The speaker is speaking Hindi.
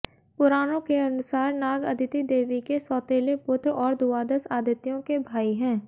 पुराणों के अनुसार नाग अदिति देवी के सौतेले पुत्र और द्वादश आदित्यों के भाई हैं